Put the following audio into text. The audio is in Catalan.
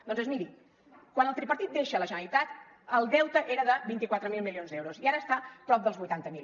doncs miri quan el tripartit deixa la generalitat el deute era de vint quatre mil milions d’euros i ara està a prop dels vuitanta mil